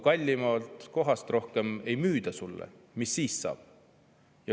Aga kui sealt kohast kallimalt sulle rohkem ei müüda, mis siis saab?